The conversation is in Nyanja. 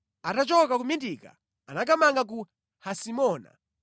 Atachoka ku Mitika anakamanga ku Hasimona.